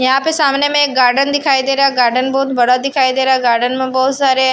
यहां पे सामने में एक गार्डन दिखाई दे रहा गार्डन बहुत बड़ा दिखाई दे रहा गार्डन में बहोत सारे--